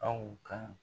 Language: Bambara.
Aw ka